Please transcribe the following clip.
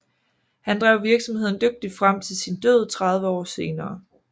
Han drev virksomheden dygtigt frem til sin død 30 år senere